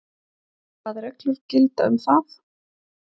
Hvað reglur gilda um það?